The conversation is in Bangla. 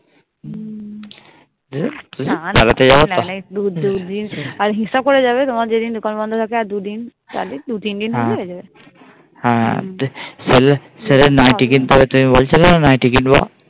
না না দু দিন আর দু দিন নিলে হবে আর দু দিন হিসেবে করে গেলেই হবে দু তিন দিন নিলেই হয়ে যাবে সেলের নাইটি কিনতে হবে তুমি বলছিলে না নাইটি কিনবো.